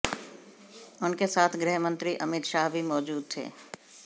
उनके साथ गृह मंत्री अमित शाह भी मौजूद थे